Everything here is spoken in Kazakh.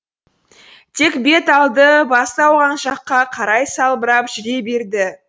тек бет алды басы ауған жаққа қарай салбырап жүре берді